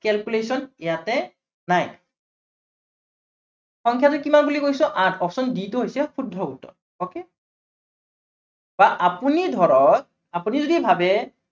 calculation ইয়াতে নাই। সংখ্য়াটো কিমান বুলি কৈছো, option d টো হৈছে শুদ্ধ উত্তৰ okay বা আপুনি ধৰক, আপুনি যদি ভাবে